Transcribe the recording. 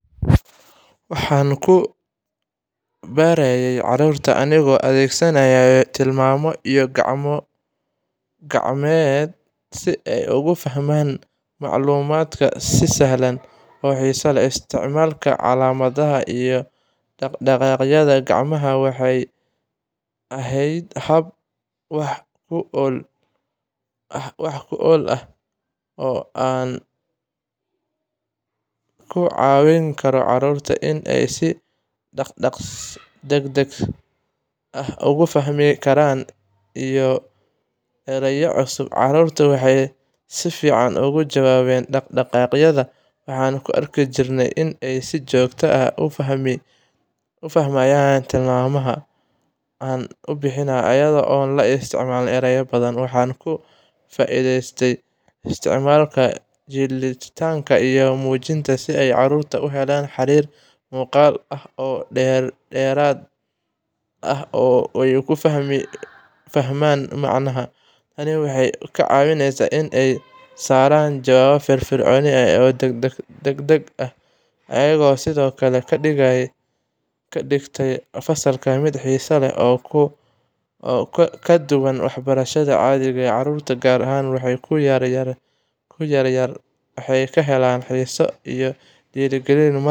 Waxaan ku barayay carruurta anigoo adeegsanaya tilmaamo iyo gacmo-gacmeed si ay ugu fahmaan macluumaadka si sahlan oo xiiso leh. Isticmaalka calaamadaha iyo dhaq-dhaqaaqyada gacmaha waxay ahayd hab wax ku ool ah oo aan ku caawin karo carruurta in ay si degdeg ah u fahmaan fikradaha iyo ereyada cusub. Carruurtu waxay si fiican ugu jawaabeen dhaq-dhaqaaqyada, waxaana arki jiray inay si joogto ah u fahmayaan tilmaamaha aan u bixiyo iyada oo aan la isticmaalin erayo badan. Waxaan ka faa'iidaystay isticmaalka jilitaanka iyo muujinta si ay carruurtu u helaan xiriir muuqaal ah oo dheeraad ah oo ay ku fahmaan macnaha. Tani waxay caawisay inay soo saaraan jawaabo firfircoon oo degdeg ah, iyadoo sidoo kale ka dhigtay fasalka mid xiiso leh oo ka duwan waxbarashada caadiga ah. Carruurta, gaar ahaan kuwa yaryar, waxay ka helaan xiiso iyo dhiirigelin marka ay.